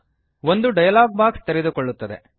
ಒಂದು dialogue box ತೆರೆದುಕೊಳ್ಳುತ್ತದೆ